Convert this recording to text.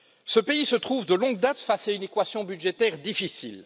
Ce pays se trouve, de longue date, face à une équation budgétaire difficile.